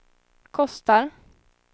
kostar